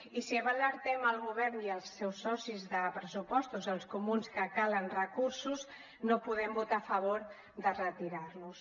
i si bé alertem el govern i els seus socis de pressupostos els comuns que calen recursos no podem votar a favor de retirarlos